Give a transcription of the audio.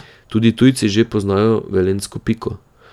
Tudi tujci že poznajo velenjsko Piko.